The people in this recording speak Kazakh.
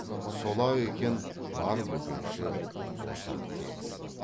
сол ақ екен бар бөкенші борсақ тегіс